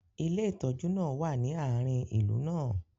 ilé ìtójú náà wa ni aarin ìlú náà